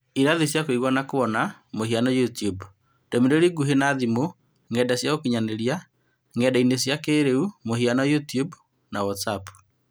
Irathi cia kũigua na kuona (mũhiano, YouTube) ; ndũmĩrĩri ngũhĩ na thimũ, ng'enda cia ũkinyanĩria/ ng'enda-inĩ cia kĩrĩu (mũhiano, YouTube , watzap).